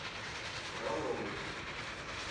фроловой